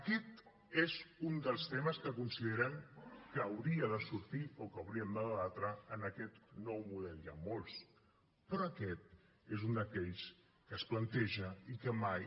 aquest és un dels temes que considerem que hauria de sortir o que hauríem de debatre en aquest nou model n’hi han molts però aquest és un d’aquells que es planteja i que mai